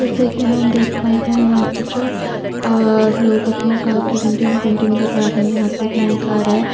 जैसे की हम देख पा रहे है यहाँ पे जो अअअ लोग अपने कार की डेंटिंग पेंटिंग करवा रहे है यहाँ पे एक नई कार है।